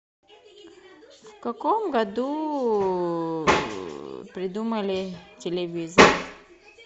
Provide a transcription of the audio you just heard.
в каком году придумали телевизор